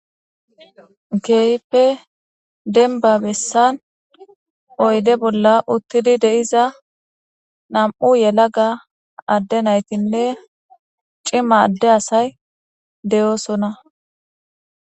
geyippe denba bessan oyde bolla uttidi de7iza nam7u yela ga adde naytinne cima adde asay de7oosona